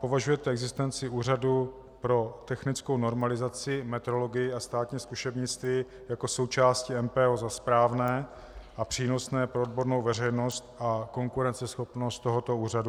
Považujete existenci Úřadu pro technickou normalizaci, metrologii a státní zkušebnictví jako součásti MPO za správné a přínosné pro odbornou veřejnost a konkurenceschopnost tohoto úřadu?